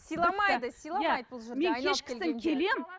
сыйламайды сыйламайды бұл жерде айналып келгенде кешкісін келемін